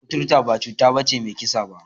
Kuturta ba cuta ce mai kisa ba.